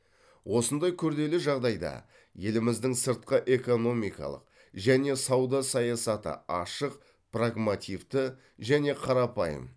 осындай күрделі жағдайда еліміздің сыртқы экономикалық және сауда саясаты ашық прагмативті және қарапайым